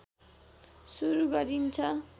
सुरु गरिन्छ